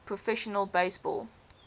professional base ball